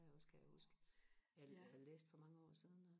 også kan jeg huske jeg læste for mange år siden